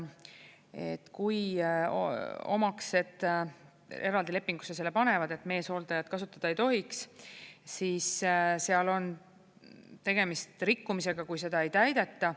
Et kui omaksed eraldi lepingusse selle panevad, et meeshooldajat kasutada ei tohiks, siis seal on tegemist rikkumisega, kui seda ei täideta.